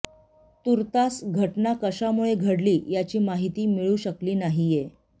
तुर्तास घटना कशामुळे घडली याची माहिती मिळू शकली नाहीये